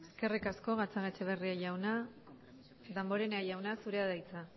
eskerrik asko eskerrik asko gatzagaetxebarria jauna damborenea jauna zurea da hitza